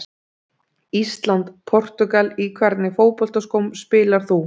Ísland- Portúgal Í hvernig fótboltaskóm spilar þú?